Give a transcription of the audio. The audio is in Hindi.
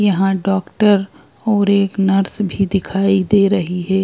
यहां डॉक्टर और एक नर्स भी दिखाई दे रही है।